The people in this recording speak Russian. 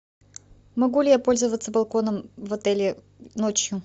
могу ли я пользоваться балконом в отеле ночью